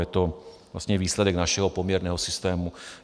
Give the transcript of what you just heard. Je to vlastně výsledek našeho poměrného systému.